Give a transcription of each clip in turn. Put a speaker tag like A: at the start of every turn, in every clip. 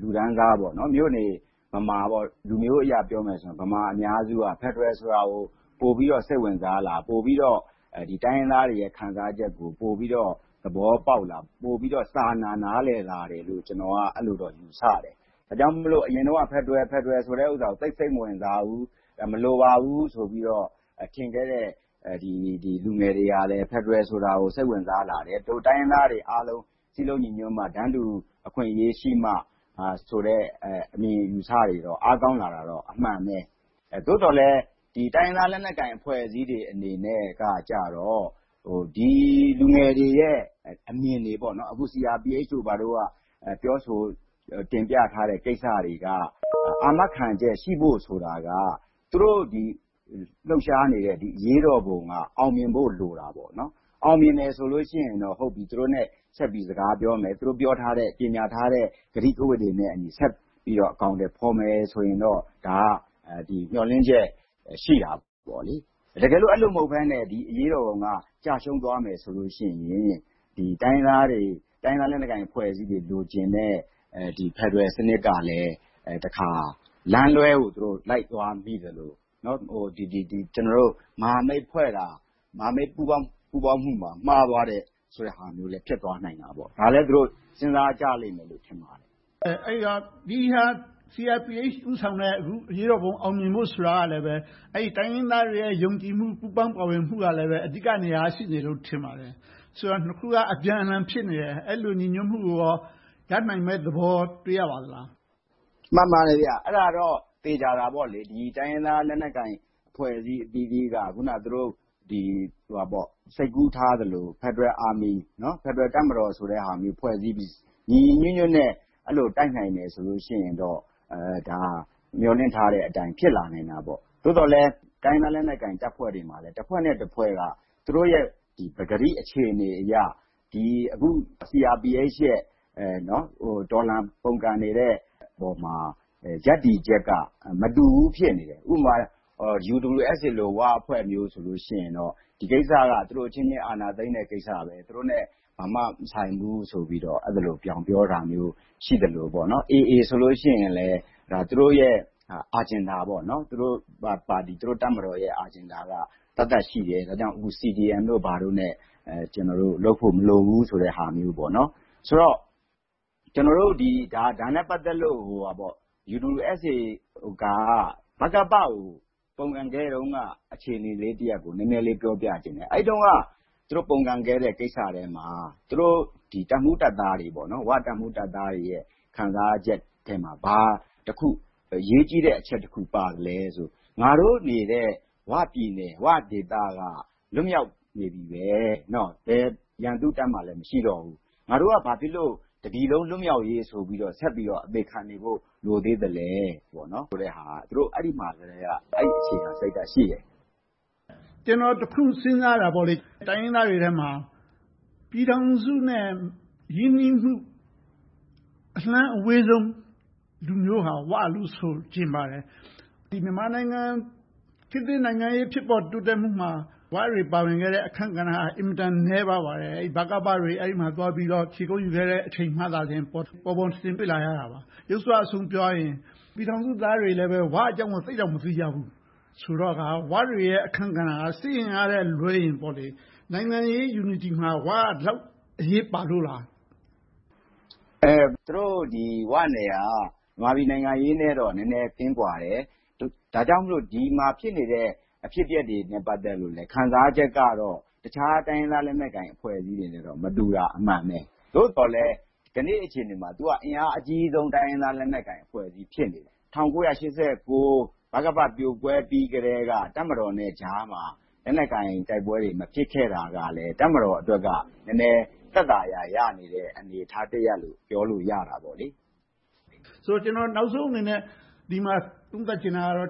A: လူတန်းစား၊ မြို့နေဗမာ - လူမျိုးအရပြောမယ်ဆိုရင် ဗမာအများစုက ဖယ်ဒရယ်ဆိုတာကို ပိုပြီးတော့ စိတ်ဝင်စားလား။ ပိုပြီးတော့ တိုင်းရင်းသားတွေရဲ့ ခံစားချက်ကို ပိုပြီးတော့ သဘောပေါက်လား။ ပိုပြီးတော့ စာနာနားလည်လာတယ်လို့ ကျနော်က အဲဒီလိုတော့ ယူဆပါတယ်။ ဒါကြောင့်မို့ အရင်တုန်းက ဖယ်ဒရယ် ဆိုတာကို သိပ်စိတ်မဝင်စားဘူး။ မလိုပါဘူးလို့ ထင်ခဲ့တဲ့ လူငယ်တွေကလဲ ဖယ်ဒရယ်ဆိုတာကို စိတ်ဝင်စားလာတယ်။ ဒို့တိုင်းရင်းသားတွေအားလုံး စည်းလုံးညီညွှတ်မှ၊ တန်းတူအခွင့်အရေးရှိမှဆိုတဲ့ အမြင်အယူအဆတွေ အားကောင်းလာတာတော့ အမှန်ပဲ။ သို့သော်လဲ တိုင်းရင်းသားလက်နက်ကိုင် အဖွဲ့အစည်းတွေအနေနဲ့ကြတော့ ဒီလူငယ်တွေရဲ့ အမြင်တွေ။ CRPH တို့က ပြောဆိုတင်ပြထားတဲ့ ကိစ္စတွေက အာမခံချက်ရှိဖို့ဆိုတာက သူတို့လှုပ်ရှားနေတဲ့ အရေးတော်ပုံက အောင်မြင်ဖို့လိုတယ်။ အောင်မြင်တယ်ဆိုရင်တော့ သူတို့နဲ့ ဆက်ပြီးတော့ စကားပြောမယ်။ သူတို့ကြေညာထားတဲ့ ကတိကဝတ်တွေနဲ့အညီ ဆက်ပြီးတော့ အကောင်အထည်ဖော်မယ်ဆိုရင်တော့ ဒါကမျှော်လင့်ချက် ရှိတာပေါ့။ တကယ်လို့ အဲဒီလိုမဟုတ်ဘဲနဲ့ အရေးတော်ပုံက ကျရှုံးသွားမယ်ဆိုရင် တိုင်းရင်းသားအဖွဲ့အစည်းတွေ လိုချင်နေတဲ့ ဖယ်ဒရယ်စနစ်ကလဲ တခါလမ်းလွှဲကို လိုက်သွားမိသလို - မဟာမိတ်ဖွဲ့တာ မဟာမိတ်ပူးပေါင်းမှုပါ မှားသွားတယ်ဆိုတာလဲ ဖြစ်သွားနိုင်တာပေါ့။ ဒါကိုလဲ စဉ်းစားကြလိမ့်မယ်လို့ ထင်ပါတယ
B: ်။ မေး ။ ။ CRPH ဦးဆောင်တဲ့ အရေးတော်ပုံ အောင်မြင်ဖို့ဆိုတာလဲ တိုင်းရင်းသားတွေရဲ့ ယုံကြည်မှု၊ ပူးပေါင်းပါဝင်မှုကလဲ အဓိကနေရာက ရှိနေမယ်လို့ ထင်ပါတယ်။ နှစ်ခုက အပြန်အလှန် ဖြစ်နေတယ်။ အဲဒီလို ညီညွှတ်မှုကိုရော ရနိုင်မယ့်သဘော တွေ့ရပါသလား
A: ။ ဖြေ ။ ။ မှန်ပါတယ်။
B: အဲဒါတော့ သေချာတာပေါ့။ တိုင်းရင်းသား
A: လက်နက်ကိုင် အဖွဲ့အစည်းအသီးသီးက အခုန စိတ်ကူးထားသလို ဖယ်ဒရယ်တပ်မတော်ဆိုတဲ့ဟာမျိုး ဖွဲ့စည်းပြီး ညီညီညွှတ်ညွှတ်နဲ့ အဲဒီလို တိုက်နိုင်တယ်ဆိုရင်တော့ ဒါက မျှော်လင့်ထားတဲ့အတိုင်း ဖြစ်လာနိုင်တာပေါ့။ သို့သော်လဲ တိုင်းရင်းသားလက်နက်ကိုင် အဖွဲ့တွေမှာလဲ တဖွဲ့နဲ့တဖွဲ့က သူတို့ရဲ့ ပကတိအခြေအနေအရ အခု CRPH ရဲ့ တော်လှန်ပုန်ကန်နေတဲ့ပေါ်မှာ ရပ်တည်ချက်က မတူဘူး ဖြစ်နေတယ်။ ဥပမာ UWSA ဝအဖွဲ့မျိုးဆိုရင် ဒီကိစ္စက သူတို့အချင်းချင်း အာဏာသိမ်းတဲ့ကိစ္စ။ သူတို့နဲ့ ဘာမှမဆိုင်ဘူးဆိုပြီး အဲဒီလို ဗြောင်းပြောတာမျိုး ရှိသလို။ AA ဆိုရင်လဲ သူတို့ရဲ့ Agenda သူတို့တပ်မတော်ရဲ့ Agenda က သက်သက်ရှိတယ်။ ဒါကြောင့်မို့ CDM တို့ ဘာတို့နဲ့ လုပ်ဖို့မလိုဘူးဆိုတဲ့ဟာမျိုး။ ဆိုတော့ ကျနော်တို့ ဒါနဲ့ပတ်သက်လို့ UWSA က ဗကပကို ပုန်ကန်ခဲ့တုန်းက အခြေအနေတရပ်ကို နည်းနည်းလေး ပြောပြချင်တယ်။ အဲဒီတုန်းက သူတို့ပုန်ကန်ခဲ့တဲ့ ကိစ္စထဲမှာ ဝတပ်မှူးတပ်သားတွေရဲ့ ခံစားချက်ထဲမှာ ဘာအရေးကြီးတဲ့အချက် တခုပါသလဲဆိုရင် “ငါတို့နေတဲ့ ဝပြည်နယ်၊ ဝဒေသက လွတ်မြောက်နေပြီပဲ။ ဘယ်ရန်သူ့တပ်မှလဲ မရှိတော့ဘူး။ ငါတို့က ဘာဖြစ်လို့ တပြည်လုံး လွတ်မြောက်ရေးဆိုပြီး ဆက်ပြီးတော့ အသေခံနေဖို့ လိုသေးသလား။” ဆိုတဲ့ဟာက သူတို့မှာ အဲဒီကတည်းက အဲဒီအခြေခံစိတ်ဓါတ် ရှိတယ်။
B: မေး ။ ။ ကျနော် တခုစဉ်းစားတာက တိုင်းရင်းသားတွေထဲမှာ ပြည်ထောင်စုနဲ့ ရင်းနှီးမှု အလှမ်းအဝေးဆုံး လူမျိုးဟာ ‘ဝ’ လို့ ဆိုချင်ပါတယ်။ မြန်မာနိုင်ငံ ခေတ်သစ်နိုင်ငံရေး တိုးတက်မှုမှာ ဝတွေ ပါဝင်ခဲ့တဲ့ အခန်းကဏ္ဍက အင်မတန်နည်းပါးပါတယ်။ ဗကပတွေ အဲဒီမှာ ခြေကုပ်ယူခဲ့တဲ့ အချိန်မှ ပေါ်ပေါ်ထင်ထင် တွေ့လာရတာပါ။ ယုတ်စွအဆုံး ပြောရရင် ပြည်ထောင်စုသားတွေလဲ ဝအကြောင်းကို သိပ်တောင်မသိကြဘူးဆိုတော့ ဝတွေရဲ့ အခန်းကဏ္ဍက စစ်အင်အားထက်လွှဲရင် နိုင်ငံရေး Unity မှာ ဝတွေက ဒီလောက်အရေးပါလို့လား။
A: ဖြေ ။ ။ သူတို့ဝနယ်ကတော့ မြန်မာပြည်နိုင်ငံရေးနဲ့တော့ နည်းနည်းကင်းကွာတယ်။ ဒါကြောင့်မို့ ဒီမှာဖြစ်နေတဲ့ အဖြစ်အပျက်တွေနဲ့ ပတ်သက်လို့လဲ ခံစားချက်ကတော့ တခြားတိုင်းရင်းသားလက်နက်ကိုင် အဖွဲ့အစည်းတွေနဲ့တော့ မတူတာ အမှန်ပဲ။ သို့သော်လဲ ကနေ့အခြေအနေမှာ အင်အားအကြီးဆုံး တိုင်းရင်းသားလက်နက်ကိုင် အဖွဲ့အစည်း ဖြစ်နေတယ်။ ၁၉၈၉ ဗကပ ပြိုကွဲပြီးကတည်းက တပ်မတော်နဲ့ကြားမှာ လက်နက်ကိုင်တိုက်ပွဲတွေ မဖြစ်ခဲ့တာကလဲ တပ်မတော်အတွက်လဲ သက်သာရာ ရနေတဲ့ အနေအထားတရပ်လို့ ပြောလို့ရတယ်။ မေး
B: ။ ။ ကျနော် နောက်ဆုံးအနေနဲ့ ဒီမှာ သုံးသပ်ချင်တာက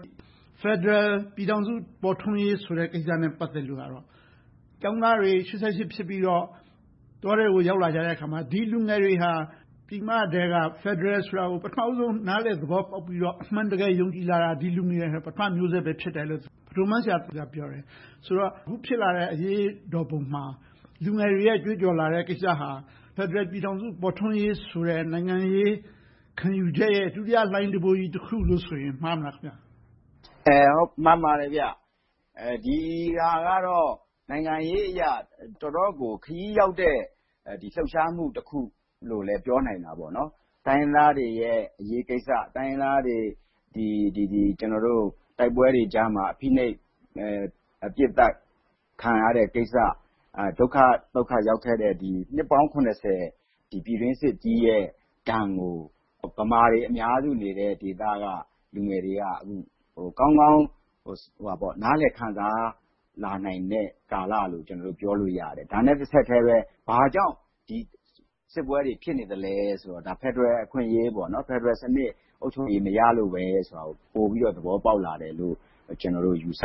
B: ဖယ်ဒရယ်ပြည်ထောင်စု ပေါ်ထွန်းရေးကိစ္စနဲ့ ပတ်သက်တာကတော့ ကျောင်းသားတွေ ၈၈ ဖြစ်ပြီးတော့ တောထဲကို ရောက်လာတဲ့အခါမှာ ဒီလူငယ်တွေဟာ ပြည်မထဲက ဖယ်ဒရယ်ဆိုတာကို ပထမဦးဆုံး နားလည်သဘောပေါက်ပြီးတော့ အမှန်တကယ် ယုံကြည်လာတာ ဒီလူငယ်တွေက ပထမမျိုးဆက် ဖြစ်တယ်လို့ ဗဒိုးမန်းရှာက ပြောတယ်။ အခုဖြစ်လာတဲ့ အရေးတော်ပုံမှာ လူငယ်တွေရဲ့ ကြွေးကြော်လာတဲ့ ကိစ္စဟာ ဖယ်ဒရယ်ပြည်ထောင်စု ပေါ်ထွန်းရေးဆိုတဲ့ နိုင်ငံရေးခံယူချက်ရဲ့ ဒုတိယလှိုင်းတံပိုးကြီး တခုလို့ပြောရင် မှားမလား။ ဖ
A: ြေ ။ ။ မှန်ပါတယ်။ ဒီဟာကတော့ နိုင်ငံရေးအရ တော့်တော်ကို ခရီးရောက်တဲ့ လှုပ်ရှားမှုတခုလို့ ပြောနိုင်တယ်။ တိုင်းရင်းသားတွေရဲ့ အရေးကိစ္စ။ တိုင်းရင်းသားတွေရဲ့ တိုက်ပွဲတွေကြားမှာ ဖိနှိပ်ပစ်သတ်ခံရတဲ့ ကိစ္စ။ ဒုက္ခသုက္ခရောက်ခဲ့တဲ့ နှစ်ပေါင်း ပြည်တွင်းစစ်ကြီးရဲ့ ဒဏ်ကို ဗမာတွေအများစုနေတဲ့ ဒေသက လူငယ်တွေက အခုဆို ကောင်းကောင်းနားလည်ခံစားလာနိုင်တဲ့ ကာလလို့ ပြောလို့ရတယ်။ ဒါနဲ့ တဆက်တည်းပဲ ဘာကြောင့် စစ်ပွဲတွေ ဖြစ်နေသလဲဆိုတဲ့ ဖယ်ဒရယ်အခွင့်အရေး၊ ဖယ်ဒရယ်စနစ် အုပ်ချုပ်ရေး မရလို့ပဲဆိုပြီး ပိုပြီးတော့ သဘောပေါက်လာတယ်လို့ ကျနော်တို့ ယူဆ